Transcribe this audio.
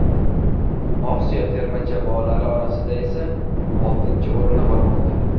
Osiyo terma jamoalari orasida esa oltinchi o‘rinda bormoqda.